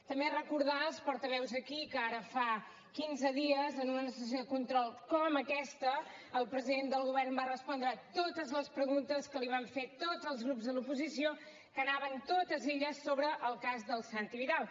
també recordar als portaveus aquí que ara fa quinze dies en una sessió de control com aquesta el president del govern va respondre totes les preguntes que li van fer tots els grups de l’oposició que anaven totes ells sobre el cas del santi vidal